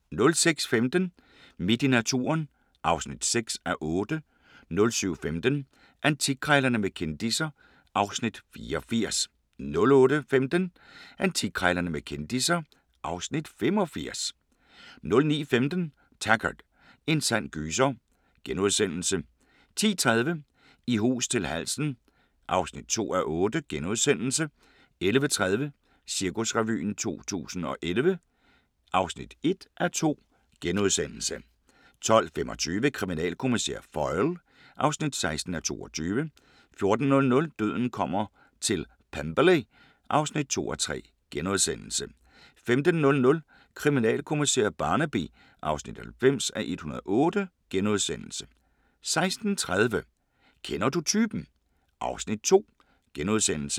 06:15: Midt i naturen (6:8) 07:15: Antikkrejlerne med kendisser (Afs. 84) 08:15: Antikkrejlerne med kendisser (Afs. 85) 09:15: Taggart: En sand gyser * 10:30: I hus til halsen (2:8)* 11:30: Cirkusrevyen 2011 (1:2)* 12:25: Kriminalkommissær Foyle (16:22) 14:00: Døden kommer til Pemberley (2:3)* 15:00: Kriminalkommissær Barnaby (90:108)* 16:30: Kender du typen? (Afs. 2)*